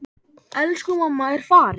Elsku mamma er farin.